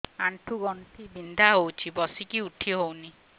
ଆଣ୍ଠୁ ଗଣ୍ଠି ବିନ୍ଧା ହଉଚି ବସିକି ଉଠି ହଉନି